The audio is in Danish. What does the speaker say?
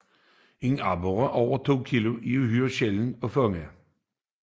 Aborrer over 2 kg er en uhyre sjælden fangst